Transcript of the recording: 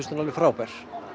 alveg frábært